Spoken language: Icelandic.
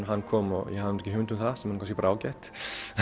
hann kom og ég hafði nú ekki hugmynd um það sem er kannski ágætt